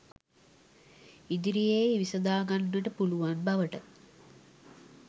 ඉදිරියේ විසඳාගන්නට පුළුවන් බවට